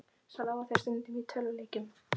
Svo lágu þeir stundum í tölvuleikjum.